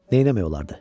Neynəmək olardı?